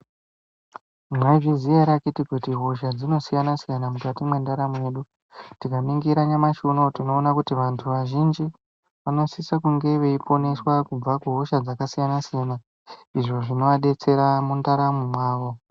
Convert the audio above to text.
Mwaizviziya ere akiti kuti hosha dzinosiyana-siyana mukati mwendaramo yedu. Tikaningira nyamashi unoo tinoona kuti vantu vazhinji vanosisa kunge veiponeswa kubva kuhosha dzakasiyana-siyana, izvo zvinoadetsera mundaramo mwavo.